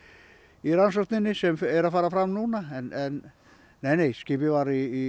í rannsókninni sem er að fara fram núna en nei nei skipið var í